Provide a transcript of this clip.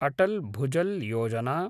Atal Bhujal Yojana